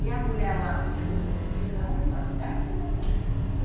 E a mulher lá, a buchuda, o que que aconteceu com ela?